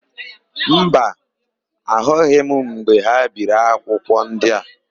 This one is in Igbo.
Mba, ahụghị m mgbe ha biri akwụkwọ ndị a.